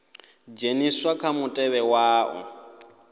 dzheniswa kha mutevhe wa u